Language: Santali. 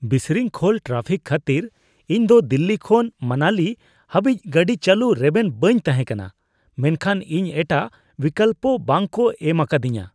ᱵᱤᱥᱨᱤᱝᱠᱷᱚᱞ ᱴᱨᱟᱯᱷᱤᱠ ᱠᱷᱟᱹᱛᱤᱨ ᱤᱧᱫᱚ ᱫᱤᱞᱞᱤ ᱠᱷᱚᱱ ᱢᱟᱱᱟᱞᱤ ᱦᱟᱹᱵᱤᱡ ᱜᱟᱹᱰᱤ ᱪᱟᱹᱞᱩ ᱨᱮᱵᱮᱱ ᱵᱟᱹᱧ ᱛᱟᱦᱮᱸ ᱠᱟᱱᱟ , ᱢᱮᱱᱠᱷᱟᱱ ᱤᱧ ᱮᱴᱟᱜ ᱵᱤᱠᱚᱞᱯᱚ ᱵᱟᱝ ᱠᱚ ᱮᱢ ᱟᱠᱟᱫᱤᱧᱟᱹ ᱾